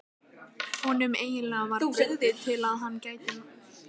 Honum var eiginlega of brugðið til að hann mætti mæla.